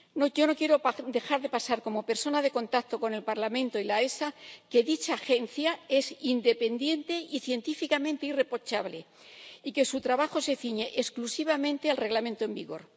Yo no quiero dejar de recordar ―como persona de contacto con el Parlamento y la EFSA― que esta agencia es independiente y científicamente irreprochable, y que su trabajo se ciñe exclusivamente al Reglamento en vigor.